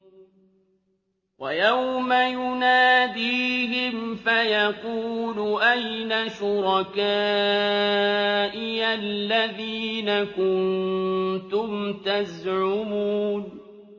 وَيَوْمَ يُنَادِيهِمْ فَيَقُولُ أَيْنَ شُرَكَائِيَ الَّذِينَ كُنتُمْ تَزْعُمُونَ